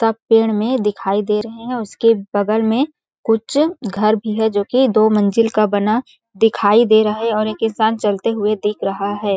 सब पेड़ में दिखाई दे रहे है उसके बगल में कुछ घर भी है जोकि दो मंजिल का बना दिखाई दे रहा है और एक इंसान चलते हुए दिख रहा है। .